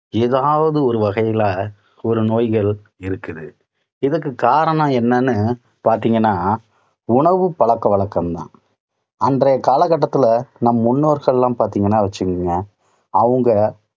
ஏதாவது ஒரு வகையில ஒரு நோய்கள் இருக்குது. இதற்குக் காரணம் என்னன்னு பாத்தீங்கன்னா, உணவு பழக்க வழக்கம் தான். அன்றைய காலகட்டத்தில நம் முன்னோர்கள் எல்லாம் பார்த்தீங்கன்னா வச்சுக்குங்க, அவங்க